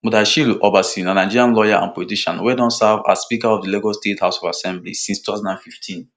mudashiru obasa na nigerian lawyer and politician wey don serve as speaker of di lagos state house of assembly since two thousand and fifteen